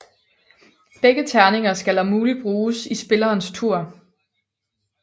Begge terninger skal om muligt bruges i spillerens tur